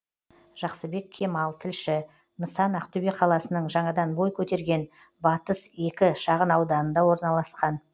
жақсыбек кемал тілші нысан ақтөбе қаласының жаңадан бой көтерген батыс екі шағын ауданында орналасқан